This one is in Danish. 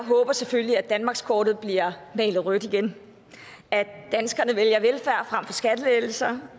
selvfølgelig håber at danmarkskortet bliver malet rødt igen at danskerne vælger velfærd frem for skattelettelser